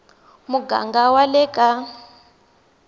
ya muganga wa le ka